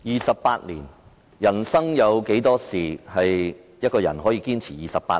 二十八年，人生有多少事情可以讓一個人堅持28年？